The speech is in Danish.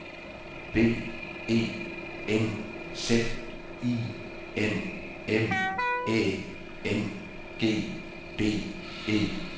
B E N Z I N M Æ N G D E